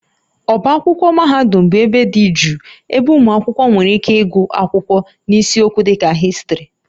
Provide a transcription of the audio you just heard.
Ọbá akwụkwọ mahadum bụ ebe dị jụụ ebe ụmụ akwụkwọ nwere ike ịgụ akwụkwọ n'isiokwu dịka Histrị